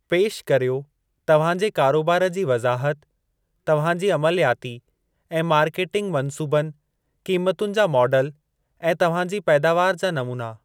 पेश कर्यो तव्हां जे कारोबार जी वज़ाहत, तव्हां जी अमलयाती ऐं मार्केटिंग मन्सूबनि, क़ीमतुनि जा माडल, ऐं तव्हां जी पैदावार जा नमूना।